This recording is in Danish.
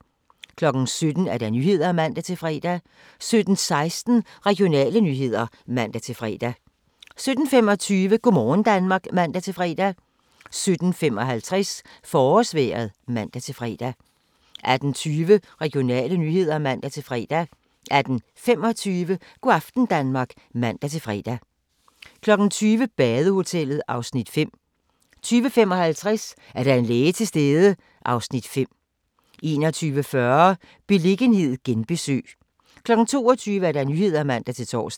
17:00: Nyhederne (man-fre) 17:16: Regionale nyheder (man-fre) 17:25: Go' aften Danmark (man-fre) 17:55: Forårsvejret (man-fre) 18:20: Regionale nyheder (man-fre) 18:25: Go' aften Danmark (man-fre) 20:00: Badehotellet (Afs. 5) 20:55: Er der en læge til stede? (Afs. 5) 21:40: Beliggenhed genbesøg 22:00: Nyhederne (man-tor)